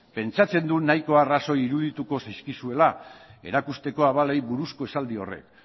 pentsatzen dut nahiko arrazio irudituko zaizkizuela erakusteko abalei buruzko esaldi horrek